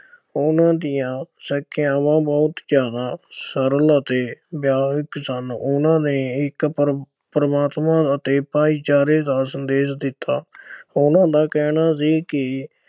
ਉਨ੍ਹਾਂ ਦੀਆਂ ਸਿੱਖਿਆਵਾਂ ਬਹੁਤ ਜ਼ਿਆਦਾ ਸਰਲ ਅਤੇ ਸਨ। ਉਨ੍ਹਾਂ ਨੇ ਇੱਕ ਪ੍ਰਮ ਅਹ ਪ੍ਰਮਾਤਮਾ ਅਤੇ ਭਾਈਚਾਰੇ ਦਾ ਸੰਦੇਸ਼ ਦਿੱਤਾ। ਉਨ੍ਹਾਂ ਦਾ ਕਹਿਣਾ ਸੀ ਕੀ